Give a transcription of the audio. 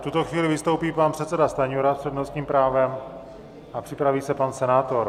V tuto chvíli vystoupí pan předseda Stanjura s přednostním právem a připraví se pan senátor.